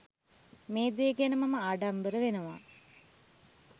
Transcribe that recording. මේ දේ ගැන මම ආඩම්බර වෙනවා.